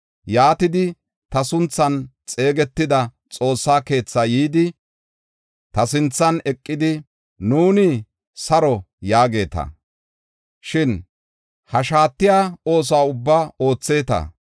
Yaatidi, ta sunthan xeegetida Xoossa keethaa yidi, ta sinthan eqidi, ‘Nuuni saro’ yaageeta. Shin ha shaatiya oosuwa ubbaa ootheeta.